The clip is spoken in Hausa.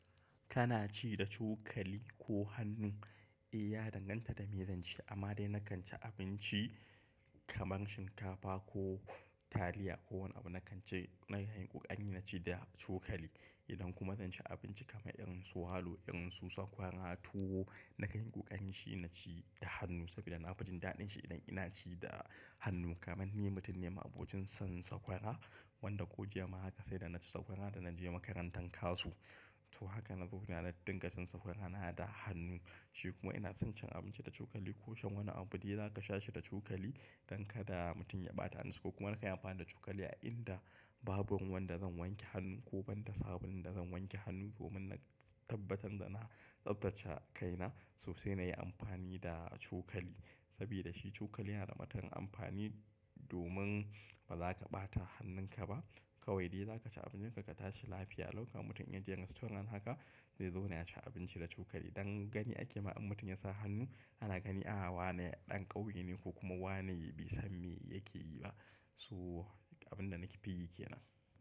Kana ci da cokali ko hannu? Eh, ya danganta da me zan ci amma dai na kan ci abinci kamar shinkafa ko taliya ko wani abu na kan ci, na yi kokari na ci da cokali. Idan kuma zan ci abinci kamar irin su walo, irin su sakwara too, na yi kokari na ci da hannu saboda na fi jin daɗin shi idan ina ci da hannu. Kamar ni mutum ne ma abokin son sakwara wanda ko jiya ma haka sai da na ci sakwara da na je makarantar kasu. To haka na zo na dinga cin sakwara na da hannu shi kuma ina son cin abinci da cokali ko shan wani abu dai za ka sha shi da cokali don kada mutum ya ɓata hannunsa ko kuma nakan yi amfani da cokali a inda babu ruwanbda zan wanke hannun ko banda sabulun da zan wanke hannu domin na tabbatar da na tsaftace kaina sosai na yi amfani da cokali. Sabida shi cokali yana da matuƙar amfani domin ba za ka ɓata hannunka ba. Kawai dai za ka ci abincinka ka tashi lafiya. Dauka mutum in jiya restaurant haka, zai zauna ya ci abinci da cokali. Dan gani ake ma in mutum ya sa hannu ana gani a a wane dan kauye ne ko kuma bai san ma me yake yi ba to abin da na fi yi ke nan.